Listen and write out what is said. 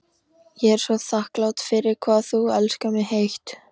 Ég er svo þakklát fyrir hvað þú elskar mig heitt.